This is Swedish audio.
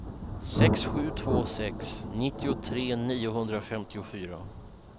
sex sju två sex nittiotre niohundrafemtiofyra